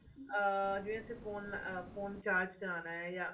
ਅਹ ਜਿਵੇਂ ਅਸੀਂ phone ਅਹ phone recharge ਕਰਾਣਾ ਜਾਂ